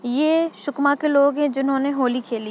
ये सुकम के लोग हैं जिन्होंने होली खेली--